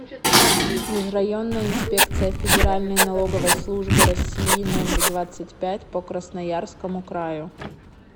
межрайонная инспекция федеральной налоговой службы россии номер двадцать пять по красноярскому краю